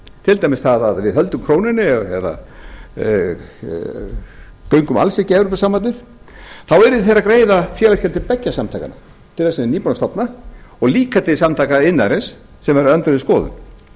til dæmis það að við höldum krónunni eða göngum alls ekki í evrópusambandið þá yrðu þeir að greiða félagsgjöld til beggja samtakanna félagsins sem þeir eru nýbúnir að stofna og líka til samtaka iðnaðarins sem er á öndverðri skoðun